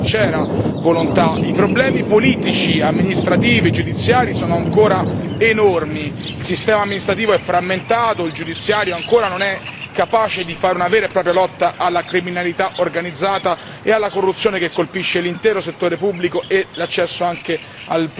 I problemi politici, amministrativi, giudiziari sono ancora enormi, il sistema amministrativo è frammentato, il sistema giudiziario ancora non è capace di fare una vera e propria lotta alla criminalità organizzata e alla corruzione che colpisce l'intero settore pubblico e l'accesso anche al pubblico impiego e ai servizi.